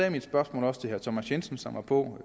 i mit spørgsmål til herre thomas jensen som var på